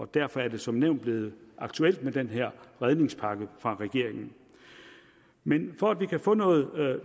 derfor er det som nævnt blevet aktuelt med den her redningspakke fra regeringen men for at vi kan få noget